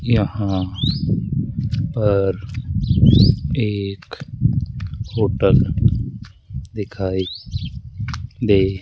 यहाँ पर एक होटल दिखाई दे --